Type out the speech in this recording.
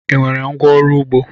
Ị nwere ngwá ọrụ ugbo?